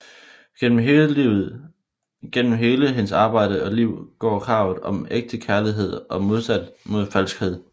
Gennem hele hendes arbejde og liv går kravet om ægte kærlighed og en modstand mod falskhed